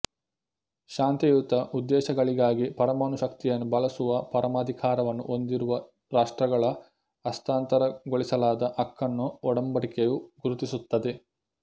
ಶಾಂತಿಯುತ ಉದ್ದೇಶಗಳಿಗಾಗಿ ಪರಮಾಣು ಶಕ್ತಿಯನ್ನು ಬಳಸುವ ಪರಮಾಧಿಕಾರವನ್ನು ಹೊಂದಿರುವ ರಾಷ್ಟ್ರಗಳ ಹಸ್ತಾಂತರಗೊಳಿಸಲಾಗದ ಹಕ್ಕನ್ನು ಒಡಂಬಡಿಕೆಯು ಗುರುತಿಸುತ್ತದೆ